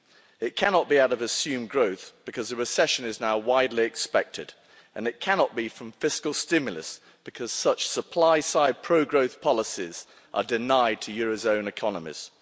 It cannot be out of assumed growth because a recession is now widely expected, and it cannot be from fiscal stimulus because such supply side pro growth policies are denied to euro area economies.